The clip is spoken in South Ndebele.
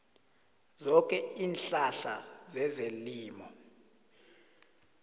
zoke iinhlahla zezelimo